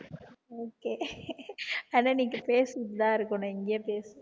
okay ஆனா நீங்க பேசிட்டு தான் இருக்கணும் இங்கேயே பேசுங்க